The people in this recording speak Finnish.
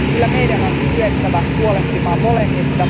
Kyllä meidän on kyettävä huolehtimaan molemmista.